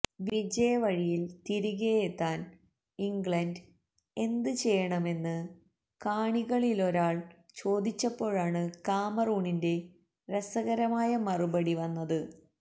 വിജയവഴിയില് തിരികെയെത്താന് ഇംഗ്ലണ്ട് എന്ത് ചെയ്യണമെന്ന് കാണികളിലൊരാള് ചോദിച്ചപ്പോഴാണ് കാമറൂണിന്റെ രസകരമായ മറുപടി വന്നത്